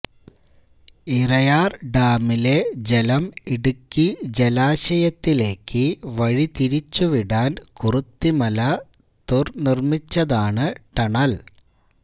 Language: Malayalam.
ഇരയാര് ഡാമിലെ ജലം ഇടുക്കി ജലാശയത്തിലേക്ക് വഴിതിരിച്ചുവിടാന് കുറുത്തിമല തുര് നിര്മ്മിച്ചതാണ് ടണല്